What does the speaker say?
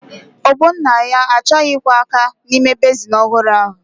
Ogbonnaya achọghị ịkwọ áká n'ime bezin ọhụrụ ahụ.